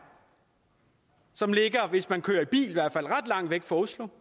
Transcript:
som ligger hvis man kører i bil i hvert fald ret langt væk fra oslo